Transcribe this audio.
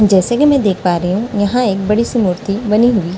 जैसे कि मैं देख पा रही हूं यहां एक बड़ी सी मूर्ति बनी हुई --